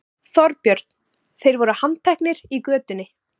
Þorbjörn: Þeir voru handteknir í götunni?